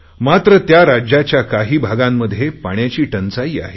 मात्र त्या राज्याच्या काही भागांमध्ये पाण्याची टंचाई आहे